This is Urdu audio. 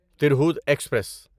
ترہوت ایکسپریس